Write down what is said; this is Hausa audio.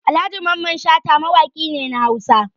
Alhaji Mamman Shata mawaki ne na Hausa.